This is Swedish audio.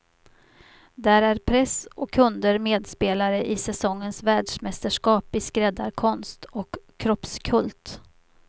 Där är press och kunder medspelare i säsongens världsmästerskap i skräddarkonst och kroppskult.